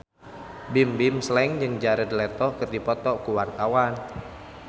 Bimbim Slank jeung Jared Leto keur dipoto ku wartawan